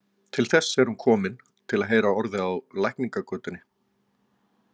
Til þess er hún komin, til að heyra orðið á læknagötunni.